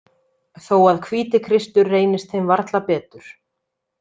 Þó að Hvítikristur reynist þeim varla betur.